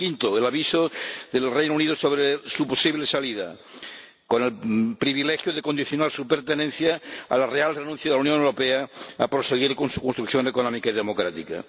Y quinto, el aviso del Reino Unido sobre su posible salida, con el privilegio de condicionar su pertenencia a la renuncia real de la Unión Europea a proseguir con su construcción económica y democrática.